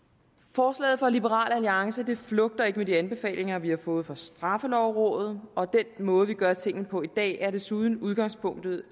forslaget fra liberal alliance flugter ikke med de anbefalinger vi har fået fra straffelovrådet den måde vi gør tingene på i dag er desuden udgangspunktet